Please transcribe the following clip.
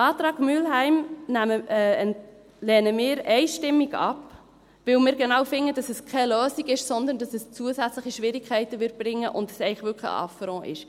Den Antrag Mühlheim lehnen wir einstimmig ab, weil wir finden, dass dies genau keine Lösung ist, sondern dass es zusätzliche Schwierigkeiten bringen wird, und es eigentlich wirklich ein Affront ist.